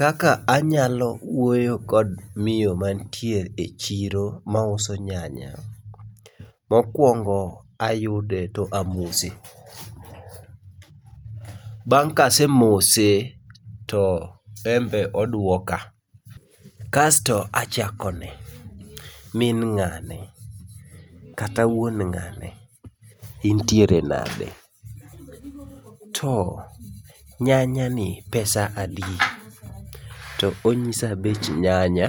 Kaka anyalo wuoyo kod miyo mantie e chiro mauso nyanya: mokwongo ayude to amose. Bang' kasemose to embe oduoka, kasto achakone. Min ng'ane kata wuon ng'ane, intiere nade, to nyanya ni pesa adi? To onyisa bech nyanya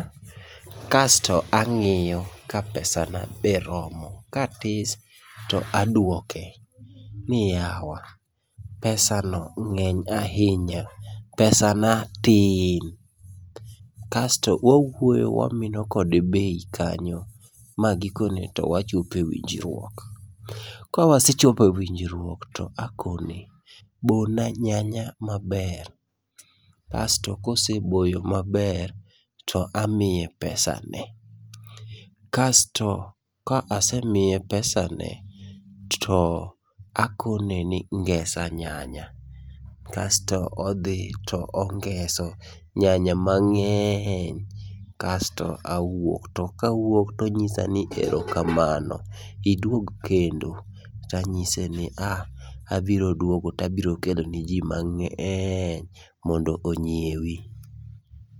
kasto ang'iyo ka pesa na be romo, katis to adwoke ni yawa pesa no ng'eny ahinya, pesa na tin. Kasto wawuoyo wamino kode bei kanyo ma gikone to wachope winjruok. Kawasechope winjjruok to akone, bona nyanya maber. Kasto koseboyo maber to amiye pesa ne. Kasto ka asemiye pesa ne to akone ni ngesa nyanya, kasto odhi to ongeso nyanya mang'eny. Kasto awuok, to kawuok tonyisa ni erokamano idwog kendo. Tanyise ni ah, abiro duogo tabiro keloni ji mang'eny mondo onyiewi.